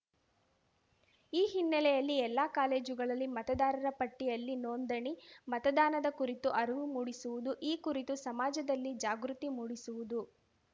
ಈ ಹಿನ್ನೆಲೆಯಲ್ಲಿ ಎಲ್ಲಾ ಕಾಲೇಜುಗಳಲ್ಲಿ ಮತದಾರರ ಪಟ್ಟಿಯಲ್ಲಿ ನೋಂದಣಿ ಮತದಾನದ ಕುರಿತು ಅರಿವು ಮೂಡಿಸುವುದು ಈ ಕುರಿತು ಸಮಾಜದಲ್ಲಿ ಜಾಗೃತಿ ಮೂಡಿಸುವುದು